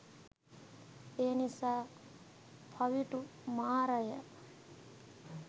එනිසා පවිටු මාරය